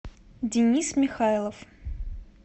денис михайлов